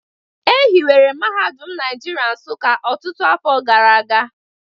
E hiwere Mahadum Naijiria Nsuka ọtụtụ afọ gara aga